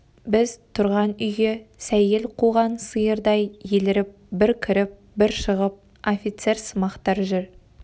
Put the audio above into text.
біз тұрған үйге сәйгел қуған сиырдай еліріп бір кіріп бір шығып офицерсымақтар жүр